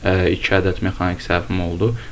İki ədəd mexaniki səhvim oldu.